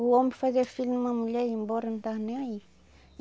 O homem fazia filho numa mulher ia embora não estava nem aí.